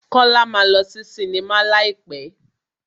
Kọ́lá máa lọ sí sinimá láì pẹ́.